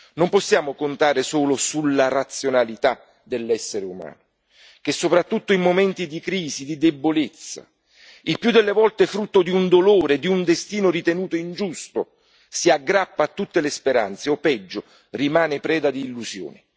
Non possiamo contare solo sulla razionalità dell'essere umano che, soprattutto in momenti di crisi e di debolezza, il più delle volte frutto di un dolore, di un destino ritenuto ingiusto, si aggrappa a tutte le speranze, o peggio rimane preda di illusioni.